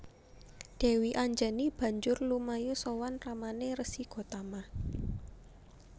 Dèwi Anjani banjur lumayu sowan ramané Resi Gotama